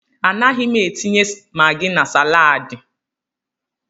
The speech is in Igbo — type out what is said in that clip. A naghị m etinye magi na salaadi.